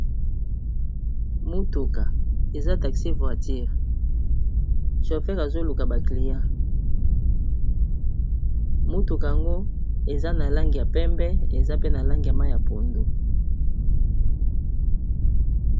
mutuka eza taxi voitire chofere azoluka bacliyen mutuka yango eza na lange ya pembe eza pe na lange ya ma ya pondo